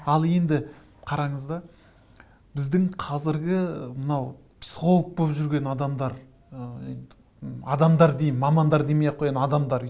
ал енді қараңыз да біздің қазіргі ыыы мынау психолог болып жүрген адамдар ыыы енді адамдар дейін мамандар демей ақ қояйын адамдар